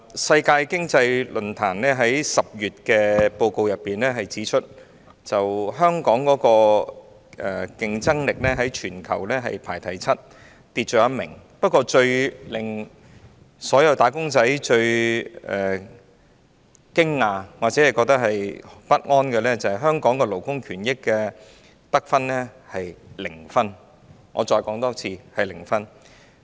世界經濟論壇在10月發表的報告中指出，香港的競爭力在全球排行第七，下跌一位，但最令所有"打工仔"感到驚訝或不安的是，香港在勞工權益方面的得分是零分，我再說一次是零分。